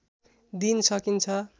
दिन सकिन्छ